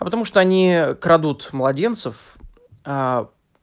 а потому что они крадут младенцев аа